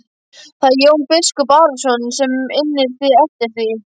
Það er Jón biskup Arason sem innir þig eftir því.